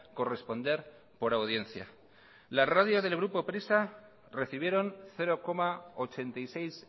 corresponder por audiencia las radios del grupo prisa recibieron cero coma ochenta y seis